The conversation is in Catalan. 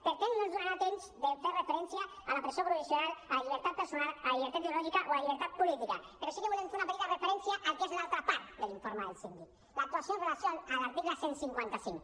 per temps no ens donarà temps a fer referència a la presó provisional a la llibertat personal a la llibertat ideològica o a la llibertat política però sí que volem fer una petita referència al que és l’altra part de l’informe del síndic l’actuació en relació amb l’article cent i cinquanta cinc